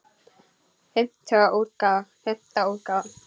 Fimmta útgáfa.